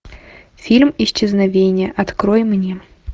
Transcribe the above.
фильм исчезновение открой мне